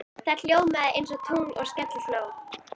Það ljómaði einsog tungl og skellihló.